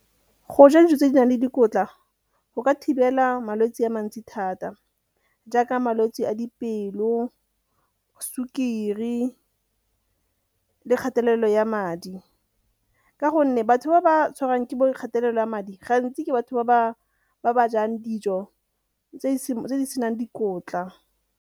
Go ja dijo tse di nang le dikotla go ka thibela malwetse a mantsi thata jaaka malwetse a dipelo, sukiri le kgatelelo ya madi, ka gonne batho ba ba tshwarwang ke kgatelelo ya madi gantsi ke batho ba ba jang dijo tse di senang dikotla.